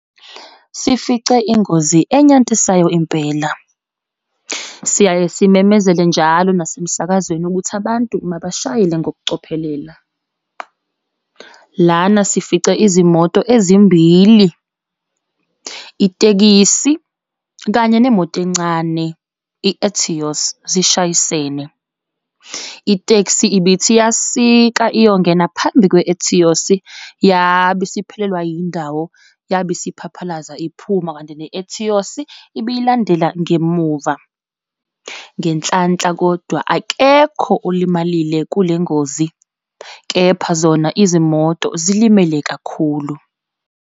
Sifice ingozi enyantisayo impela. Siyaye simemezele njalo nasemsakazweni ukuthi abantu mabashayele ngokucophelela. Lana sifice izimoto ezimbili, itekisi, kanye nemoto encane, i-Etios, zishayisane. Iteksi ibithi iyasika iyongena phambi kwe-Etios, yabe isiphelelwe yindawo yabe isiphaphalaza iphuma, kanti ne-Etios ibiyilandela ngemuva. Ngenhlanhla kodwa, akekho olimalile kulengozi. Kepha zona izimoto zilimele kakhulu.